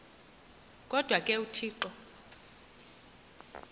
kodwa ke uthixo